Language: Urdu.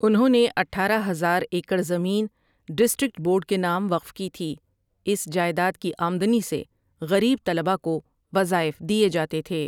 انہوں نے اٹھارہ ہزار ایکڑ زمین ڈسٹرکٹ بورڈ کے نام وقف کی تھی اس جائیداد کی آمدنی سے غریب طلباء کو وظائف دئیے جاتے تھے ۔